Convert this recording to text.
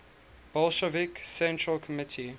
bolshevik central committee